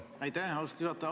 Aitäh, austatud juhataja!